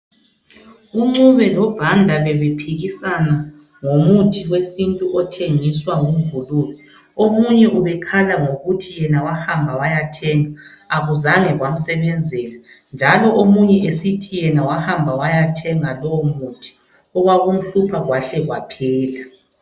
UNcube loBhanda bebephikisana ngomuthi wesintu othengiswa nguNgulube .Omunye ubekhala ngokuthi yena wahamba wayathenga akuzange kwamsebenzela ,njalo omunye esithi yena wahamba wayathenga lowo muthi okwakumhlupha kwahle kwaphela.